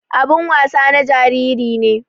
Abin wasan na jariri ne.